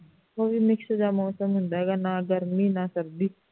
ਉਹ ਵੀ mix ਜਾਂ ਮੌਸਮ ਹੁੰਦਾ ਹੈਗਾ ਨਾ ਗਰਮੀ ਨਾ ਸਰਦੀ